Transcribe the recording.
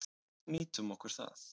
Nýtum okkur það.